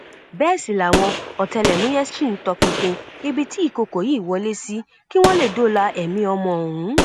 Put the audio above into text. bẹẹ sì làwọn ọtẹlẹmúyẹ ṣì ń tọpinpin ibi tí ìkòkò yìí wọlé sí kí wọn lè dóòlà ẹmí ọmọ ọhún